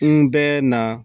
N bɛ na